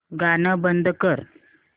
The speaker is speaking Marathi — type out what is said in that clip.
गाणं बंद कर